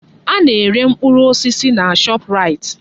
Ana-ere mkpụrụ osisi na Shọpraịt.